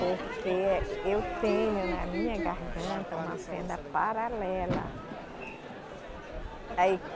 Porque eh, eu tenho na minha garganta uma fenda paralela. Aí